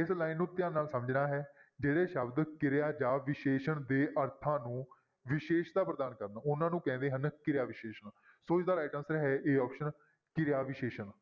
ਇਸ line ਨੂੰ ਧਿਆਨ ਨਾਲ ਸਮਝਣਾ ਹੈ ਜਿਹੜੇ ਸ਼ਬਦ ਕਿਰਿਆ ਜਾਂ ਵਿਸ਼ੇਸ਼ਣ ਦੇ ਅਰਥਾਂ ਨੂੰ ਵਿਸ਼ੇਸ਼ਤਾ ਪ੍ਰਦਾਨ ਕਰਨ ਉਹਨਾਂ ਨੂੰ ਕਹਿੰਦੇ ਹਨ ਕਿਰਿਆ ਵਿਸ਼ੇਸ਼ਣ, ਸੋ ਇਹਦਾ right answer ਹੈ a option ਕਿਰਿਆ ਵਿਸ਼ੇਸ਼ਣ।